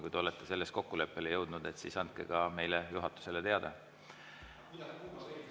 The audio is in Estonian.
Kui te olete kokkuleppele jõudnud, siis andke ka meile, juhatusele, teada.